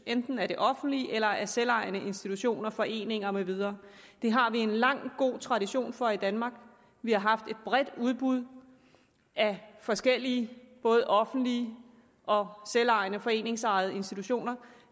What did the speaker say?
enten af det offentlige eller af selvejende institutioner foreninger med videre det har vi en lang god tradition for i danmark vi har haft et bredt udbud af forskellige både offentlige og selvejende foreningsejede institutioner